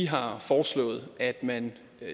har foreslået at man